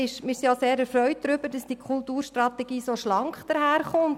Wir sind auch sehr erfreut darüber, dass die Kulturstrategie so schlank daherkommt.